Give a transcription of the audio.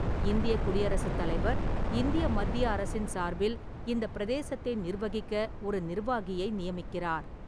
இந்தியக் குடியரசுத் தலைவர், இந்திய மத்திய அரசின் சார்பில் இந்தப் பிரதேசத்தை நிர்வகிக்க ஒரு நிர்வாகியை நியமிக்கிறார்.